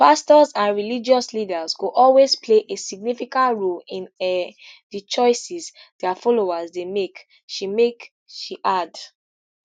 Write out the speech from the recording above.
pastors and religious leaders go always play a significant role in um di choices dia followers dey make she make she add